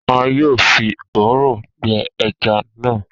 A yoo fi òrùn gbe ẹja na